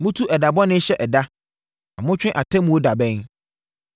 Motu ɛda bɔne hyɛ ɛda na motwe Atemmuo da bɛn.